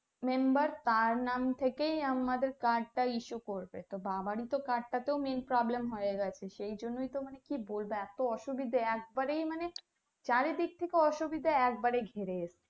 member তার নাম থেকেই আমাদের card টা issue করবে বাবাই তো Card টা তো নেই promlem হয়ে গেছে সেজন্যেই তো মানে কি বলবো এতো অসুবিধে একবারেই মানে চারিদিক থেকে অসুবিধে একবারে ঘিরে এসছে